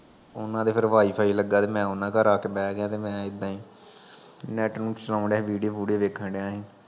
ਓਨਾ ਦੇ ਫਿਰ wi-fi ਲੱਗਾ, ਤੇ ਮੈਂ ਓਨਾ ਘਰ ਆਕੇ ਬੇਗਿਆ ਤੇ ਮੈਂ ਏਦਾਂ ਈ